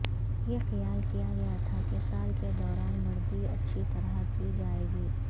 یہ خیال کیا گیا تھا کہ سال کے دوران مرگی اچھی طرح کی جائے گی